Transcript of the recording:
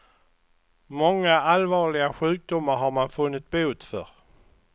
Många allvarliga sjukdomar har man funnit bot för.